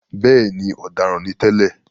Bẹ́ẹ̀ni,“ọ̀daràn” ni tẹ́lẹ̀.